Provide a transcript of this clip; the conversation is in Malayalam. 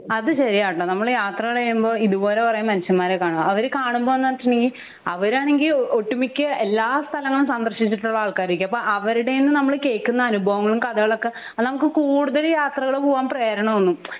അത് ശെരിയാട്ടോ നമ്മൾ യാത്രകൾ ചെയ്യുമ്പോ ഇതുപോലെ കൊറേ മനുഷ്യന്മാരെ കാണും അവര് കാണുമ്പൊന്ന് വെചിണ്ടെങ്കി അവരാണെങ്കി ഒട്ടുമിക്ക എല്ലാ സ്ഥലങ്ങളും സന്ദർശിച്ചിട്ടുള്ള ആൾകാർ ആയിരിക്കും അപ്പൊ അവരുടെന്ന് നമ്മൾ കേൾക്കുന്ന അനുഭവങ്ങളും കഥകളൊക്കെ നമുക്ക് കൂടുതൽ യാത്രകൾ പോവാൻ പ്രേരണ തോന്നും